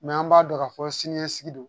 an b'a dɔn ka fɔ siniɲɛsigi don